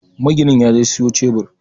Maginin yaje siyo cebir